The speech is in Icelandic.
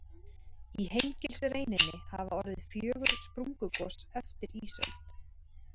Í Hengilsreininni hafa orðið fjögur sprungugos eftir ísöld.